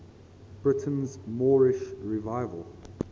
britain's moorish revival